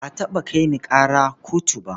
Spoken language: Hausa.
Ba a taɓa kai ni ƙara kotu ba.